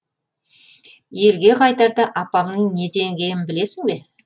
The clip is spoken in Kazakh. елге қайтарда апамның не деңгейін білесің бе